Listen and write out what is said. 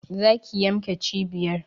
Za ki yanmnke cibiyar!